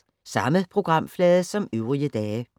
Samme programflade som øvrige dage